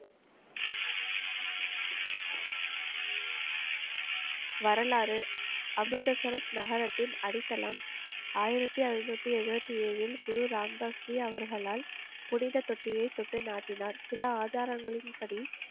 வரலாறு அபூதசரஸ் நகரத்தின் அடித்தளம் ஆயிரத்தி ஐநூத்தி எழுபத்தி ஏழில் குரு ராம்தாஸ்ரீ அவர்களால் புனித தொட்டியை தொட்டு நாட்டினார். சில ஆதாரங்களின்படி